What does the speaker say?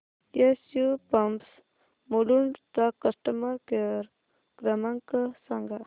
SU pumps Mulund चा customer care क्रमांक सांगा